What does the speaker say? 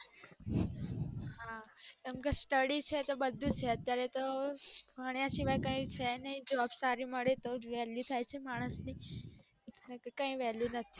હા કેમ કે study બધું છે અત્યારે ભણ્યા સિવાય કાય છે નાય job સારી મળે તો જ value થાય છે માનસ ની